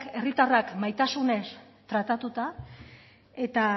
herritarrak maitasunez tratatuta eta